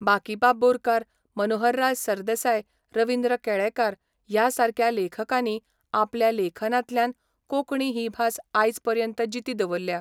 बाकीबाब बोरकार, मनोहरराय सरदेसाय, रविंद्र केळेकार ह्या सारक्या लेखकांनी आपल्या लेखनांतल्यान कोंकणी ही भास आयज पर्यंत जिती दवरल्या.